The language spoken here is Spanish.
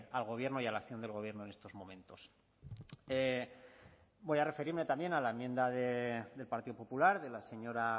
al gobierno y a la acción del gobierno en estos momentos voy a referirme también a la enmienda del partido popular de la señora